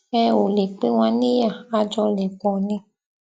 ẹ ò lè pín wa níyà a jọ lè pọ ni